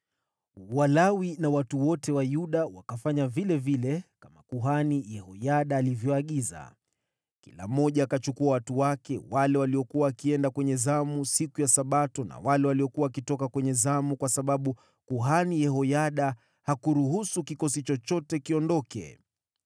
Walawi na watu wote wa Yuda wakafanya kama vile kuhani Yehoyada aliagiza. Kila mmoja akawachukua watu wake, wale waliokuwa wakiingia zamu siku ya Sabato na wale waliokuwa wakienda mapumziko, kwa sababu kuhani Yehoyada hakuruhusu kikosi chochote kiondoke.